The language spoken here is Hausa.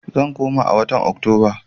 Zan koma a watan Oktoba.